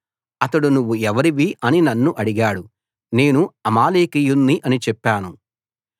అతడు నువ్వు ఎవరివి అని నన్ను అడిగాడు నేను అమాలేకీయుణ్ణి అని చెప్పాను